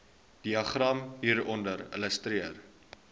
diagram hieronder illustreer